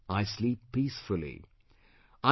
I sleep peacefully;